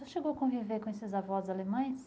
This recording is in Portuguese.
O senhor chegou a conviver com esses avós alemães?